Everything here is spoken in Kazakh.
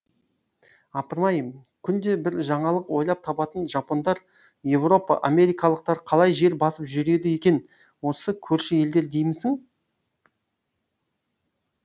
апырмай күнде бір жаңалық ойлап табатын жапондар еуропа америкалықтар қалай жер басып жүреді екен осы көрші елдер деймісің